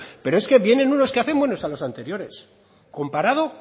pero es que vienen unos que hacen buenos a los anteriores comparado